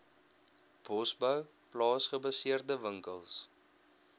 bosbou plaasgebaseerde winkels